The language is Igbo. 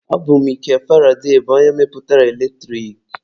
Ọ bụ Mikel Faraday bụ onye mepụtara eletrik.